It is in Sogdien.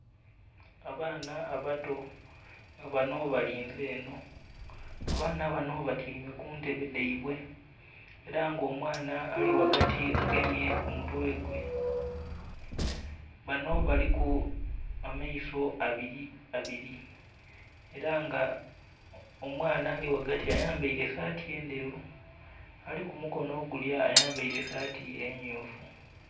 Abaana abato nga banho balinze enho, abaana banho batyaime ku ntebe dhaibwe era nga omwaana ali ghagati agemye ku mutwe gwe, banho baliku amaiso abiri abiri era nga omwaana ali ghagati ayambaire esaati endheru ali ku mukonho ogulya ayambaire esaati emyufu.